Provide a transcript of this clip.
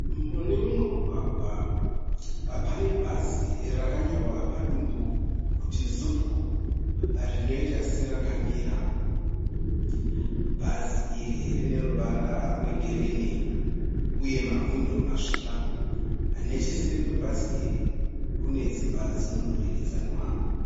Mune mumwe mumugwagwa pane bhazi rakanyorwa padumbu kuti Zupco rinoita serakamira. Bhazi iri rine ruvara rwegirini. uye mawindo masviba. Necheseri kwebhazi iri kune dzimba dzemudurikidzwana.